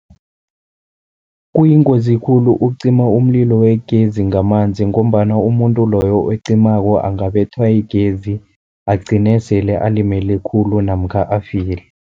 Kuyingozi khulu ukucima umlilo wegezi ngamanzi, ngombana umuntu loyo ocimako angabethwa yigezi agcine sele alimele khulu namkha afile.